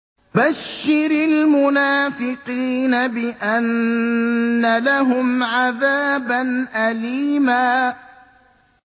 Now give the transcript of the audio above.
بَشِّرِ الْمُنَافِقِينَ بِأَنَّ لَهُمْ عَذَابًا أَلِيمًا